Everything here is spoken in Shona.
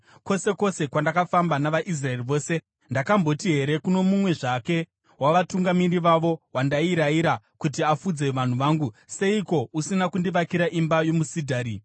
Kwose kwose kwandakafamba navaIsraeri vose, ndakamboti here kuno mumwe zvake wavatungamiri vavo, wandairayira kuti afudze vanhu vangu, “Seiko usina kundivakira imba yomusidhari?” ’